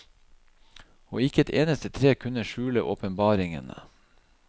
Og ikke et eneste tre kunne skjule åpenbaringene.